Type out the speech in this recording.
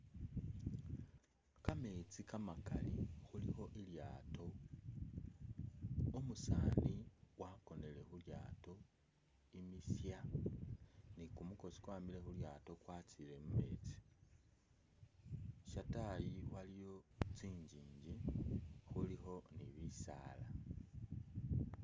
Kametsi kamakali khulikho i ilyato, umusani wakonele khu lyato imisya, ni kumukosi kwamile khu lyato kwatsiye mu metsi, shatayi waliyo tsi njinji khulikho ni bisaala.